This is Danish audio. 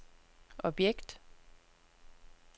objekt